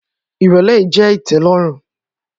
Irọlẹ yii jẹ itẹlọrun.